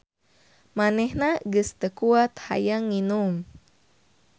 Manehna geus teu kuat hayang nginum.